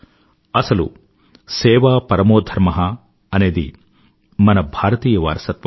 అసలు సేవా పరమో ధర్మ అనేది మన భారతీయ వారసత్వం